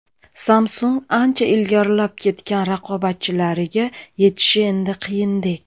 Samsung ancha ilgarilab ketgan raqobatchilariga yetishi endi qiyindek.